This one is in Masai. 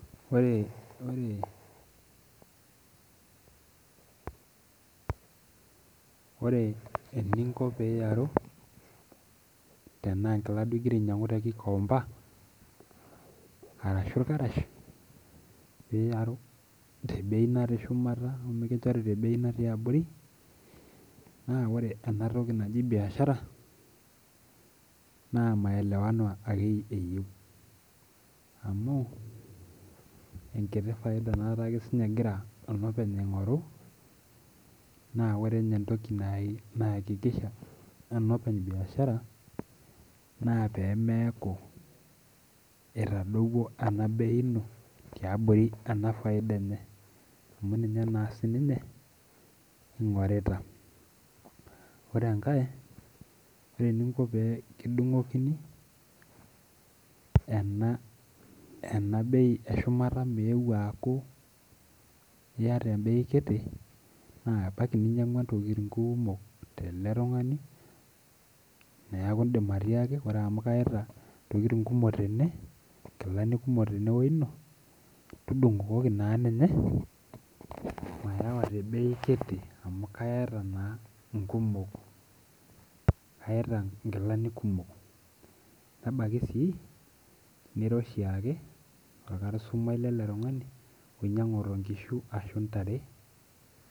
Ore ore eninko peiaru tanaa enkila duo ingira ainyangu te kikomba ashu irkarash tebei natii shumata nikinchori tebei natii abori na ore enatoki naji biashara na maelewano ake eyieu amu enkiti faida aake egira olopeny aingoru na ore entoki naiakikisha enopeny biashara na pemeaku etadowuo enabei ino tiabori enafaida enye amu ninye na sininye ingorita ore enkae ore eninko pekitudungokini enabei eshumata meeu aaku iya te m ei kiti na ebaki ninyangua ntokitin kumok teletungani neaku indim atiiaki ore amu kayaita ntokitin kumok tenebnkilani kumok tudungokoki na ninye mayawa tebei kiti amu kayaita na nkumok kayaita nkilani Kumok nebaki nira oshiake orkastomai kumok ninyangu nkishu ashu ntare.